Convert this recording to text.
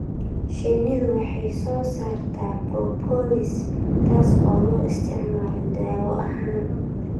Shinnidu waxay soo saartaa propolis, taas oo loo isticmaalo daawo ahaan.